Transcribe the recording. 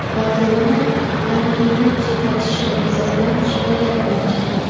"Barselona" Langlening chetlatishi yuzasidan shikoyat bilan chiqdi.